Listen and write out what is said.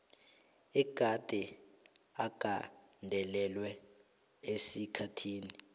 egade agandelelwe esikhathini